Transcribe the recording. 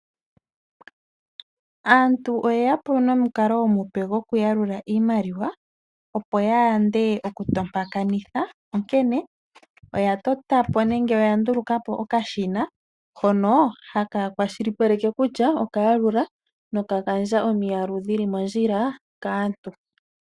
Aantu oyeya po nomukalo omupe gokuyalula iimaliwa opo ya yande okupukitha onkene oya nduluka po okashina hono haka kwashilipaleke kutya oka yalula nok gandja omiyalu dhili mondjila kaantu.